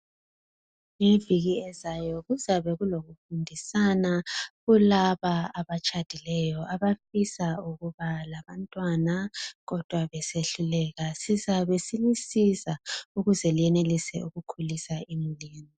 leyi iviki ezayo kuzabe kulokufundisana kulaba abatshadileyo abafisa ukuba labantwana kodwa besehluleka sizabesilisiza ukuze lenelise ukukhulisa imuli zenu